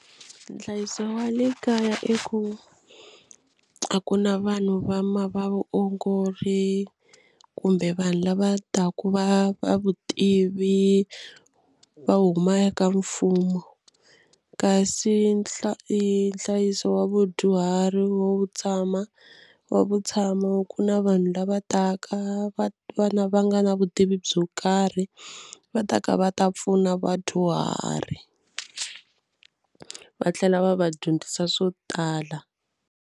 Nhlayiso wa le kaya i ku a ku na vanhu va ma vaongori kumbe vanhu lava taka va va vutivi va huma ka mfumo kasi nhlayiso wa vadyuhari wo tshama wa vutshamo ku na vanhu lava taka va va na va nga na vutivi byo karhi va taka va ta pfuna vadyuhari va tlhela va va dyondzisa swo tala.